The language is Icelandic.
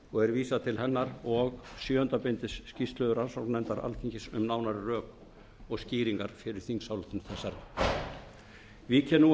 og er vísað til hennar sjöunda bindi skýrslu rannsóknarnefndar alþingis um nánari rök og skýringar fyrir þingsályktun þessari vík ég nú að rökstuðningi